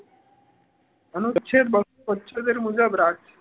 અનુચ્છેદ બસો છોત્તેર મુજબ